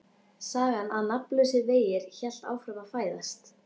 Sagan Nafnlausir vegir hélt áfram að fæðast.